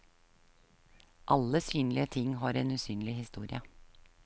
Alle synlige ting har en usynlig historie.